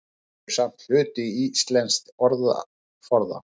Þau eru samt hluti íslensks orðaforða.